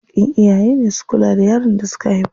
Haƙƙin iyaye ne su kula da yaron da suka haifa.